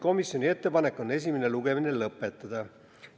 Komisjoni ettepanek on esimene lugemine lõpetada.